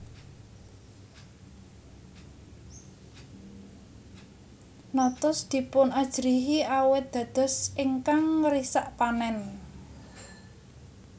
Notos dipunajrihi awit dados ingkang ngrisak panen